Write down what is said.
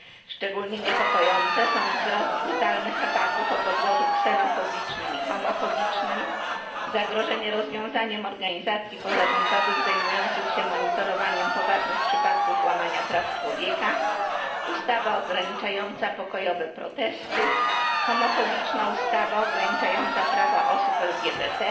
Szczególnie niepokoi wzrost brutalnych ataków o podłożu ksenofobicznym i homofobicznym, zagrożenie rozwiązaniem organizacji pozarządowych zajmujących się monitorowaniem poważnych przypadków łamania praw człowieka, ustawa ograniczająca pokojowe protesty, homofobiczna ustawa ograniczająca prawa osób LGBT,